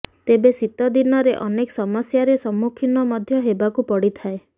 ତେବେ ଶୀତ ଦିନରେ ଅନେକ ସମସ୍ୟାରେ ସମ୍ମୁଖୀନ ମଧ୍ୟ ହେବାକୁ ପଡିଥାଏ